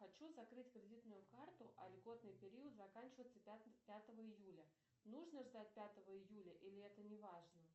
хочу закрыть кредитную карту а льготный период заканчивается пятого июля нужно ждать пятого июля или это не важно